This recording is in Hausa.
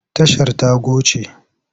Tashar ta goce.